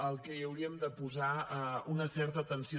al qual hauríem de posar una certa atenció